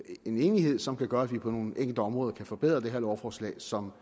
en enighed som kan gøre at vi på nogle enkelte områder kan forbedre det her lovforslag som